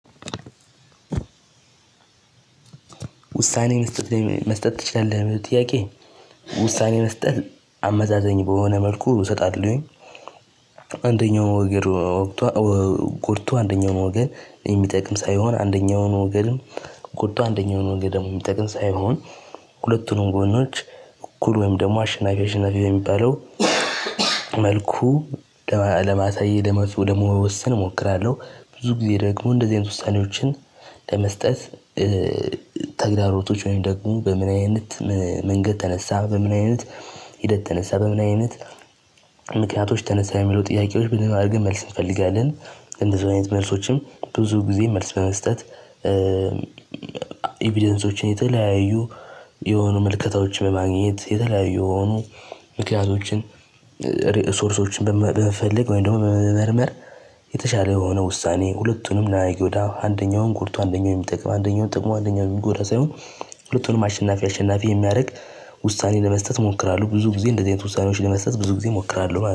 ውሳኔን መስጠት መስጠት ትችላለህ ጥያቄ ውሳኔ መስጠት አመዛዘኝ በሆነ መልኩ እሰጣለሁኝ አንደኛው ወገር ወግቶ ጎድቶ አንደኛውን ወገን የሚጠቅም ሳይሆን አንደኛውን ወገንም ጎድቶ አንደኛው ወገን ደግሞ የሚጠቅም ሳይሆን ሁለቱንም ጎኖች እኩል ወይም ደግሞ አሸናፊ አሸናፊ በሚባለው መልኩ ለማሳየት ደግሞ ለመወሰን እሞክራለሁ። ብዙ ጊዜ ደግሞ እንደዚህ አይነት ውሳኔዎችን ለመስጠት ተግዳሮቶች ወይም ደግሞ በምን አይነት መንገድ ተነሳ፣ በምን አይነት ሂደት ተነሳ፣ በምን አይነት ምክንያቶች ተነሳ የሚለው ጥያቄዎች ብትን አድርገን መልስ እንፈልጋለን። እንደዚሁ አይነት መልሶችም ብዙ ጊዜ መልስ በመስጠት ኢቪደንሶችን የተለያዩ የሆኑ ምልከታዎች በማግኘት የተለያዩ የሆኑ ምክንያቶችን ሪሶርሶችን በመፈለግ ወይም ደግሞ በመመርመር የተሻለ የሆነ ውሳኔ ሁለቱንም እንደይጎዳ አንደኛውን ጎድቶ አንደኛውን የሚጠቅም አንደኛውን ጠቅሞ አንደኛውን የሚጎዳ ሳይሆን ሁለቱንም አሸናፊ አሸናፊ የሚያደርግ ውሳኔ ለመስጠት እሞክራለሁ። ብዙ ጊዜ እንደዚህ አይነት ውሳኔዎች ለመስጠት ብዙ ጊዜ እሞክራለሁ።